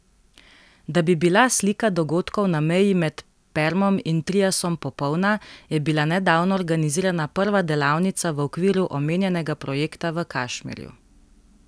Da bi bila slika dogodkov na meji med permom in triasom popolna, je bila nedavno organizirana prva delavnica v okviru omenjenega projekta v Kašmirju.